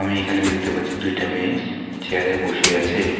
আমি এখানে দেখতে পাচ্ছি দুইটা মেয়েস চেয়ারে বসে আছে।